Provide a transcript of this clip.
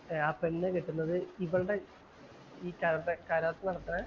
ആ പെണ്ണ് കെട്ടുന്നത് ഇവളുടെ ഈ കതോട്ട നടത്തുന്ന